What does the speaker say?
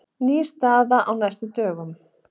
Ný staða á næstu dögum